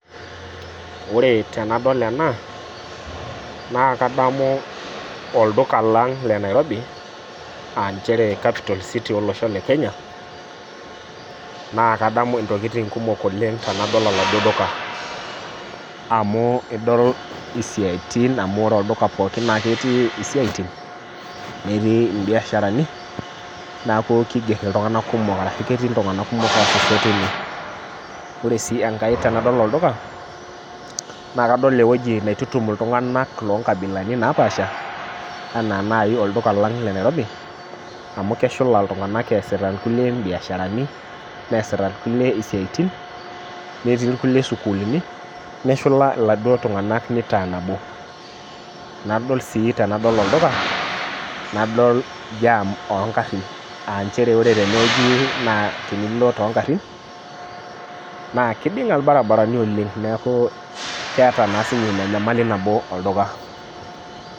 Ore tenadol ena na kadamu olduka lang le nairobi aa nchere capital city of kenya na kadamu ntokitin kumok oleng tanadol oladuo duka amu idol siaitin lolduka pookin amu ketii siatin netii imbiasharani neaku kiger ltunganak kumok ketii ltunganak kumok atua ine ore si enkae tanadol olduka na kadol ewueji naitutum ltunganak lonkabilaitin napaasha ana nai olduka lang le nairobi amu keshula ltunganak easita irkulie mbiasharani neasita irkulieisiatin netii irkulie mbiasharani neshula laduo tunganak nitaa nabonadol si tanadol olduka jam ongarin aa nchere ore tenewueji tenilo tongarinna kidinga irbaribarani oleng neaku keta nyamalitin kumok oleng.